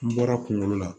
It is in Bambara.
N bɔra kunkolo la